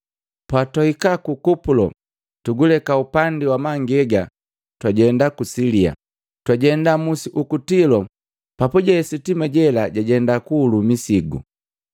Patwahika ku Kupulo, tuguleka upandi wa mangegi twajenda ku Silia. Twajema musi uku Tilo papuje sitima lela labii lijenda kuhulu misigu.